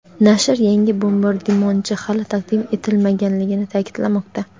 nashr yangi bombardimonchi hali taqdim etilmaganligini ta’kidlamoqda.